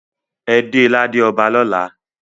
E de lade ọba lọla!